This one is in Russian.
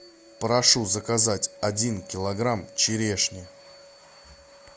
прошу заказать один килограмм черешни